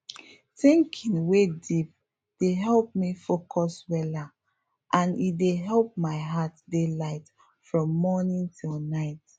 thinking wey deep dey help me focus weller and e dey help my heart dey light from morning till night